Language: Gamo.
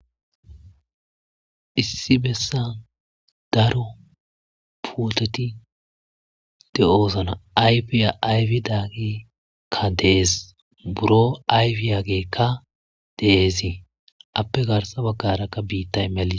Issi besan daro putet de'osona ayfiya ayfidageyka de'es buro ayfidageyka de'es , ape garsa bagara qase bitsy melis .